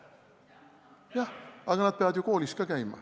Jah, aga nad peavad ju koolis käima.